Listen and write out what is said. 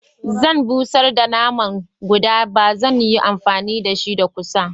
Zan bushar da naman guda ba zan yi amfani dashi da kusa.